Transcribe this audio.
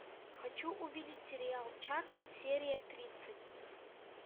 хочу увидеть сериал чак серия тридцать